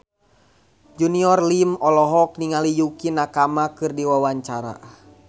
Junior Liem olohok ningali Yukie Nakama keur diwawancara